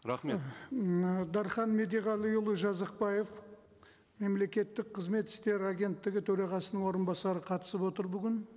рахмет і м дархан медеғалиұлы жазықбаев мемлекеттік қызмет істері агенттігі төрағасының орынбасары қатысып отыр бүгін